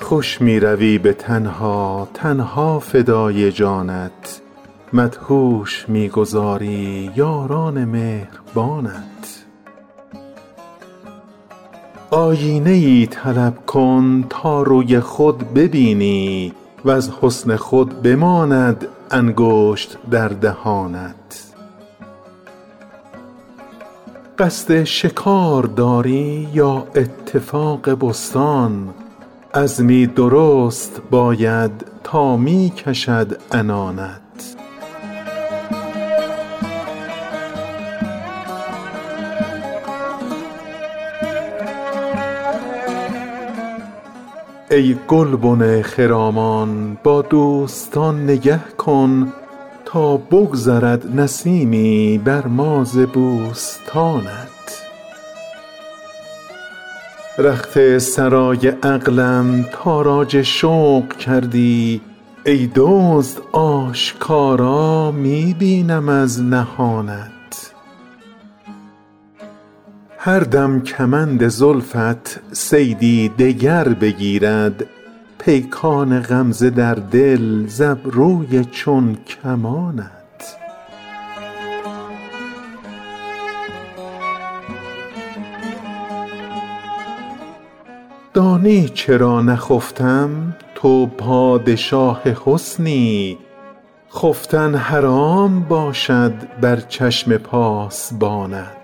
خوش می روی به تنها تن ها فدای جانت مدهوش می گذاری یاران مهربانت آیینه ای طلب کن تا روی خود ببینی وز حسن خود بماند انگشت در دهانت قصد شکار داری یا اتفاق بستان عزمی درست باید تا می کشد عنانت ای گلبن خرامان با دوستان نگه کن تا بگذرد نسیمی بر ما ز بوستانت رخت سرای عقلم تاراج شوق کردی ای دزد آشکارا می بینم از نهانت هر دم کمند زلفت صیدی دگر بگیرد پیکان غمزه در دل ز ابروی چون کمانت دانی چرا نخفتم تو پادشاه حسنی خفتن حرام باشد بر چشم پاسبانت ما